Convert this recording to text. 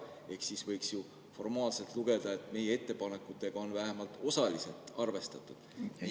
Ehk siis võiks formaalselt lugeda, et meie ettepanekutega on vähemalt osaliselt arvestatud.